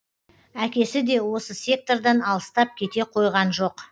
әкесі де осы сектордан алыстап кете қойған жоқ